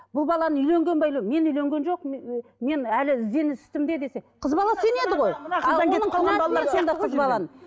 бұл баланың үйленген бе мен үйленген жоқпын мен әлі ізденіс үстінде десе қыз бала сенеді ғой